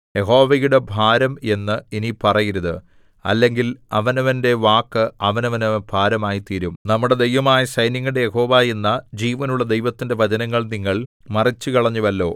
യഹോവയുടെ ഭാരം എന്ന് ഇനി പറയരുത് അല്ലെങ്കിൽ അവനവന്റെ വാക്ക് അവനവന് ഭാരമായിത്തീരും നമ്മുടെ ദൈവമായ സൈന്യങ്ങളുടെ യഹോവ എന്ന ജീവനുള്ള ദൈവത്തിന്റെ വചനങ്ങൾ നിങ്ങൾ മറിച്ചുകളഞ്ഞുവല്ലോ